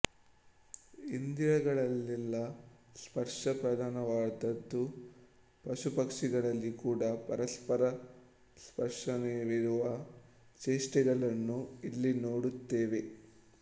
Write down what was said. ಇಂದ್ರಿಯಗಳಲ್ಲೆಲ್ಲ ಸ್ಪರ್ಶ ಪ್ರಧಾನವಾದುದು ಪಶುಪಕ್ಷಿಗಳಲ್ಲಿ ಕೂಡ ಪರಸ್ಪರ ಸ್ಪರ್ಶನವಿರುವ ಚೇಷ್ಟೆಗಳನ್ನು ಇಲ್ಲಿ ನೋಡುತ್ತೇವೆ